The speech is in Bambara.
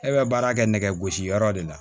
E bɛ baara kɛ nɛgɛ gosi yɔrɔ de la